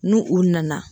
N'u u nana